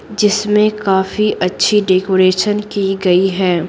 जिसमें काफी अच्छी डेकोरेशन की गई है।